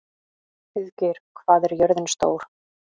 Auðgeir, hvað er jörðin stór?